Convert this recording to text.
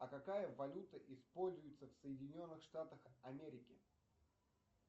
а какая валюта используется в соединенных штатах америки